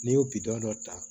N'i y'o dɔ ta